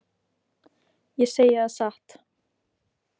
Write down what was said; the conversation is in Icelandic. Ég segi það satt.